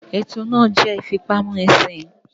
Ètò náà jẹ́ ìfipámúnisìn